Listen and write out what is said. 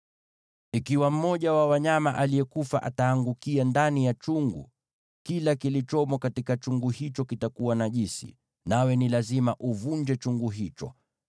Ikiwa mmoja wa wanyama aliyekufa ataangukia ndani ya chungu, kila kilichomo katika chungu hicho kitakuwa najisi, nawe ni lazima uvunje chungu hicho.